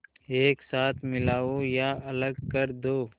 एक साथ मिलाओ या अलग कर दो